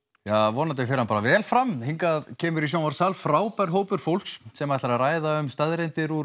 vonandi fer þetta bara vel fram hingað kemur í sjónvarpssal frábær hópur fólks sem ætlar að ræða um staðreyndir úr